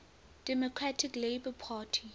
democratic labour party